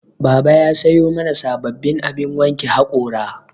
Baba ya sayo mana sababbin abin wanke haƙora